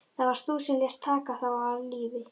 Það varst þú sem lést taka þá af lífi.